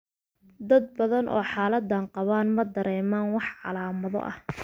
Dad badan oo xaaladdan qaba ma dareemaan wax calaamado ah.